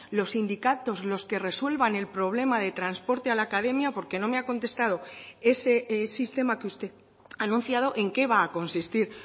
los sindicatos los que resuelvan el problema de transporte a la academia porque no me ha contestado ese sistema que usted ha anunciado en qué va a consistir